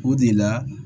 O de la